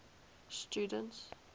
students